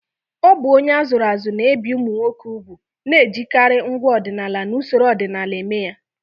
Ọ bụ onye a zụrụ azụ na-ebi ụmụ nwoke úgwù, na-ejikarị ngwa ọdịnala na usoro ọdịnala eme ya.